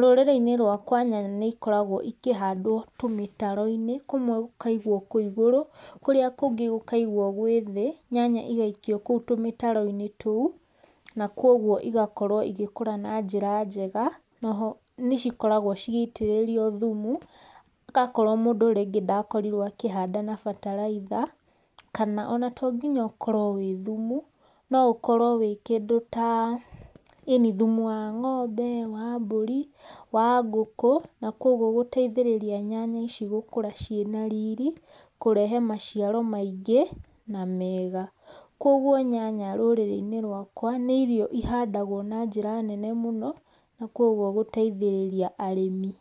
rũrĩrĩ inĩ rwakwa nyanya nĩ ĩkoragwo tũmitaro inĩ kũmwe gũkaĩgwo kwĩ igũrũ kũrĩa kũngĩ gũkaigwo gwĩ thĩ nyanya igaikio koũ tũmĩtaro inĩ toũ na kũogũo igakorwo ĩgĩkora na jĩra njega naho nĩ cikoragwo cigaitĩrĩrio thũmũ akoro nĩnge mũndũ ndakorĩrwo akĩhanda na batalaĩtha, kana ona to nginya ũkorwo wĩ thũmũ no ũkorwo wĩ ta thũmũ wa ngombe wa mbũrĩ wa ngũkũ na kũogwo gũteithĩrĩrĩa nyanya ici gũkũra cina rĩrĩ kũrehe maciaro maingĩ na mega kũogwo nyanya rũrĩrĩ inĩ rwaka nĩ irio ihandagwo na jĩra nene mũno kwogwo gũteithĩrĩrĩa arĩmi.